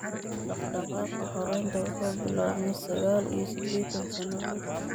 Dhaqdhaqaaqa xoraynta wuxuu bilaabmay sagaal iyo siddeetan sannadood.